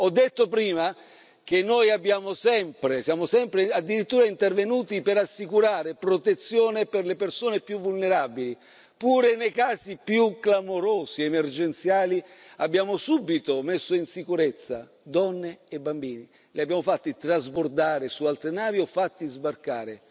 Ho detto prima che noi siamo sempre addirittura intervenuti per assicurare protezione per le persone più vulnerabili, pure nei casi più clamorosi ed emergenziali abbiamo subito messo in sicurezza donne e bambini, li abbiamo fatti trasbordare su altre navi o fatti sbarcare.